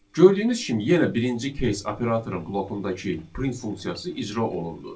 Gördüyünüz kimi yenə birinci case operatorun bloqundakı print funksiyası icra olundu.